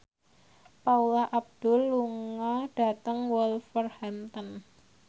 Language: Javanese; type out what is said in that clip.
Paula Abdul lunga dhateng Wolverhampton